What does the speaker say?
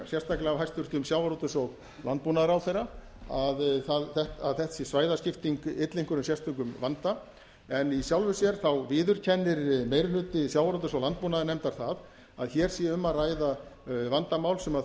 sérstaklega af hæstvirtum sjávarútvegs og landbúnaðarráðherra að þessi svæðaskipting ylli einhverjum sérstökum vanda en í sjálfu sér viðurkennir meiri hluti sjávarútvegs og landbúnaðarnefndar það að hér sé um að ræða vandamál sem þurfi